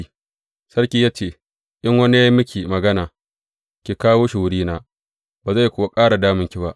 Sai sarki ya ce, In wani ya yi miki magana, ki kawo shi wurina, ba zai kuwa ƙara damunki ba.